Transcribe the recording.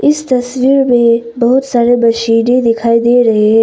इस तस्वीर में बहुत सारे मशीनें दिखाई दे रहे हैं।